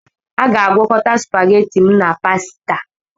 Aga-agwokọta supageti m na pasita